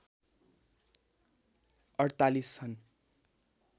४८ छन्